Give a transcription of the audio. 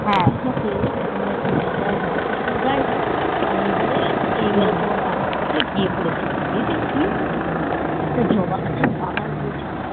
মুছিস তে ওখানে একটা জায়গা আছে আমরা তো সেখানে জায়গানই আর এইবারে তোমার কাকার সাথে গেসিলাম গিয়ে দেখছি একটা জবা গাছের বাগান রৌয়েছে